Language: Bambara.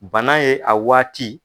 Bana ye a waati